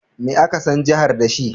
Me aka san jihar da shi?